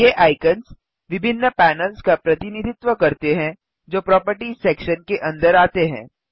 ये आइकन्स विभिन्न पैनल्स का प्रतिनिधित्व करते हैं जो प्रोपर्टिज सेक्शन के अंदर आते हैं